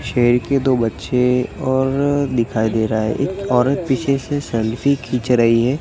शेर के दो बच्चे और दिखाई दे रहा है एक औरत पीछे से सेल्फी खींच रही है।